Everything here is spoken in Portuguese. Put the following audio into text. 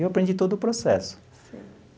E eu aprendi todo o processo. Sim.